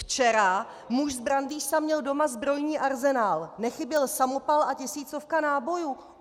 Včera muž z Brandýsa měl doma zbrojní arzenál, nechyběl samopal a tisícovka nábojů.